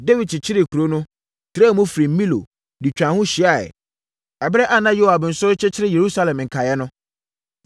Dawid kyekyeree kuro no, trɛɛ mu firi Milo de twaa ho hyiaeɛ, ɛberɛ a na Yoab nso rekyekyere Yerusalem nkaeɛ no.